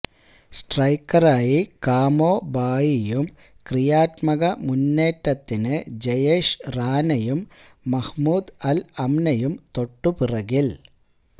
സ്ട്രൈക്കറായി Kamo ബായിയും ക്രിയാത്മക മുന്നേറ്റത്തിന് ജയേഷ് റാനയും മഹ്മൂദ് അല് അമ്നയും തൊട്ടു പിറകില്